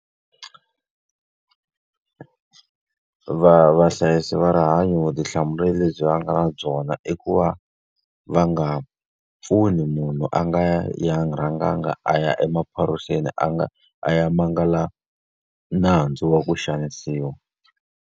Vahlayisi va rihanyo vutihlamuleri lebyi va nga na byona i ku va va nga pfuni munhu a nga ya rhangangi a ya emaphoriseni a nga a ya mangala nandzu wa ku xanisiwa.